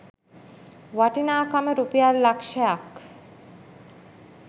වටිනාකම රුපියල් ලක්ෂයක්